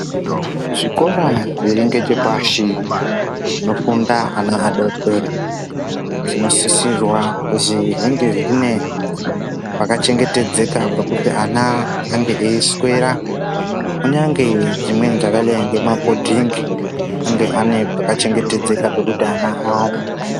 Zvikora zviringechepashi zvinofunda ana adodori zvinosisirwa kuzi zvinge zvine pakachengetedzeka pekuti ana ange eiswera kunyange dzimweni dzakadai ngemabhodhingi ange ane pakachengetedzeka pekuti ana aate.